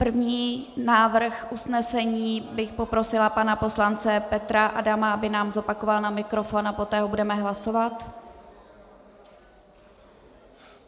První návrh usnesení bych poprosila pana poslance Petra Adama, aby nám zopakoval na mikrofon, a poté ho budeme hlasovat.